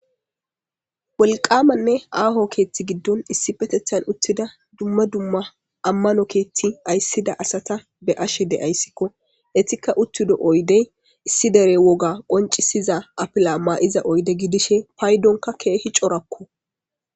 Woliqamanee aho gudida ketha gidoni duma duma asati amano kethi ayisida awata be'ashe de'esko etika utido oyidey issi dere woga afila qonicisesda oyide gidishin payidonka kehi coorako